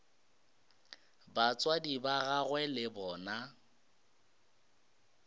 batswadi ba gagwe le bona